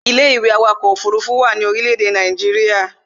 Ilé-ìwé awakọ̀ ọkọ̀ òfurufú wà ní orílé èdè Nàìjíría